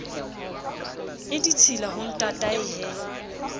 e ditshila ho ntatae he